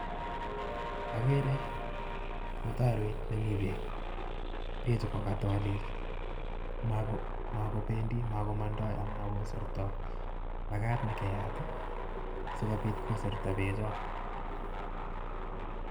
Ageere mutaroit nemi beek, bechu ko katoliil makobendi ,mokomondo ak makosertoi makat keyaat I si kobit kosertaa bechoon